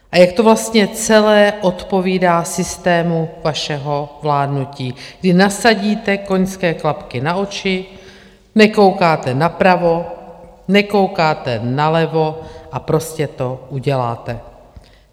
A jak to vlastně celé odpovídá systému vašeho vládnutí, kdy nasadíte koňské klapky na oči, nekoukáte napravo, nekoukáte nalevo a prostě to uděláte.